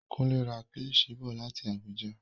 Kunle ra kílishi bọ̀ láti Abuja.